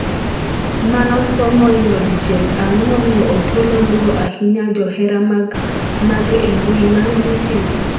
manosom moingo dichiel ang'o momiyo Opollo luwo ahinya johera mage e mbui mar youtube?